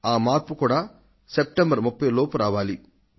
ఆ మార్పు కూడా సెప్టెంబర్ 30 లోపల రావాలి